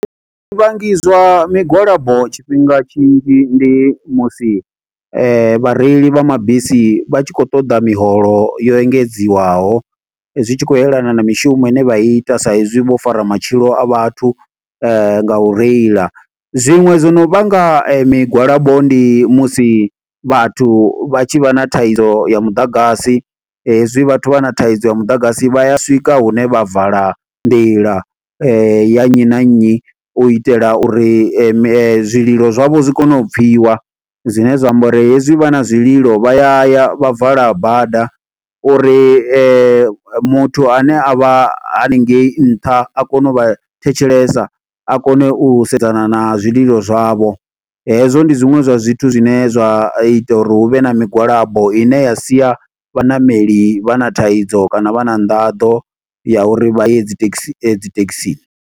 Zwi vhangi zwa migwalabo tshifhinga tshinzhi, ndi musi vhareili vha mabisi vha tshi khou ṱoḓa miholo yo engedziwaho. Zwi tshi khou yelana na mishumo ine vha i ita sa izwi vho fara matshilo a vhathu nga u reila. Zwiṅwe zwo no vhanga migwalabo ndi musi vhathu vha tshi vha na thaidzo ya muḓagasi, hezwi vhathu vha na thaidzo ya muḓagasi, vha ya swika hune vha vala nḓila ya nnyi na nnyi. U itela uri zwililo zwavho zwi kone u pfiwa, zwine zwa amba uri hezwi vha na zwililo vha ya ya, vha vala bada. Uri ma muthu ane a vha haningei nṱha a kone u vha thetshelesa, a kone u sedzana na zwililo zwavho. Hezwo ndi zwiṅwe zwa zwithu zwine zwa ita uri hu vhe na migwalabo, ine ya sia vhaṋameli vha na thaidzo kana vha na nḓaḓo, ya uri vha ye dzi taxi, dzi thekhisini.